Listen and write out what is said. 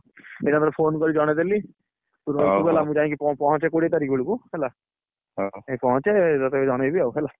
ଏକାଥର phone ଟିକେ କରକିଜଣେଇଦେଲି ତୁ ରହିଥିବୁ ହେଲା ମୁ ଯାଇକି ପହଞ୍ଚେ କୋଡିଏ ତାରିଖ ବେଳକୁ ହେଲା ମୁ ଯାଇକି ପହଞ୍ଚେ ତତେ ଜଣେଇବି ଆଉ ହେଲା